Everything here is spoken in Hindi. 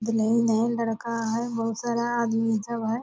दुलहिन है लड़का है बहुत सारा आदमी सब है।